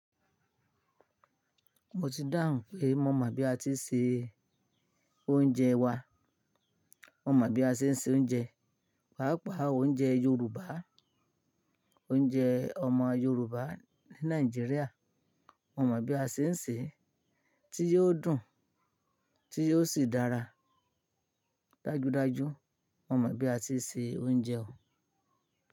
Mo ti dáhùn pé mo mọ̀ bí a ti ń se oúnjẹ wa. Mo mọ̀ bí a ṣe ń se oúnjẹ, pàápàá oúnjẹ Yorùbá, oúnjẹ ọmọ Yorùbá ní Nàìjíríà. Mo mọ bí a ṣe ń sè é tí yóò dùn, tí yóò sì dára. Dájúdájú mo mọ̀ bí a ti ń se oúnjẹ.